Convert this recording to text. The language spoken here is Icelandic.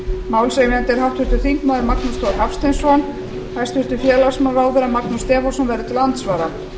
málshefjandi er háttvirtur þingmaður magnús þór hafsteinsson hæstvirts félagsmálaráðherra magnús þór stefánsson verður til andsvara